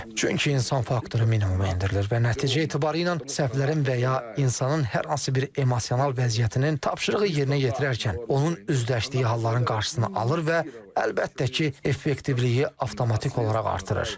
Çünki insan faktoru minimuma endirilir və nəticə etibarilə səhflərin və ya insanın hər hansı bir emosional vəziyyətinin tapşırığı yerinə yetirərkən onun üzləşdiyi halların qarşısını alır və əlbəttə ki, effektivliyi avtomatik olaraq artırır.